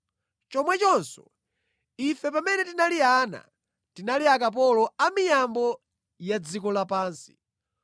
Chomwechonso, ife pamene tinali ana, tinali akapolo a miyambo ya dziko lapansi.